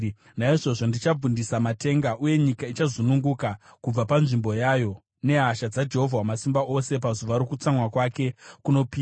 Naizvozvo ndichabvundisa matenga; uye nyika ichazungunuka kubva panzvimbo yayo, nehasha dzaJehovha Wamasimba Ose, pazuva rokutsamwa kwake kunopisa.